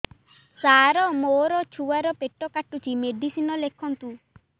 ସାର ମୋର ଛୁଆ ର ପେଟ କାଟୁଚି ମେଡିସିନ ଲେଖନ୍ତୁ